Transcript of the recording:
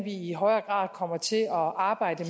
i højere grad kommer til at arbejde